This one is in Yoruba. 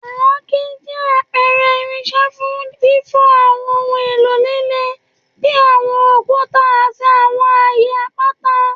Àáké jẹ apẹrẹ irinṣẹ fun fifọ awọn ohun elo lile bi awọn okuta ati awọn aaye apata.